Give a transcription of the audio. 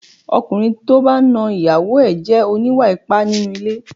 Ọkùnrin tí ó bá ń na ìyàwó ẹ jẹ́ oníwà ipá nínú ilé.